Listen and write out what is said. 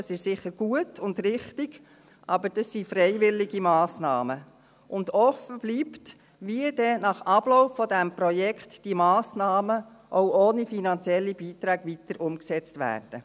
Das ist sicher gut und richtig, aber das sind freiwillige Massnahmen, und offen bleibt, wie dann diese Massnahmen nach Ablauf dieses Projekts auch ohne finanzielle Beiträge weiter umgesetzt werden.